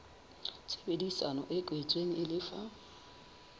tshebedisano e kwetsweng e lefa